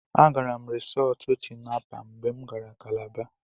Agara m Risọọtụ Tinapa mgbe m gara Kalaba.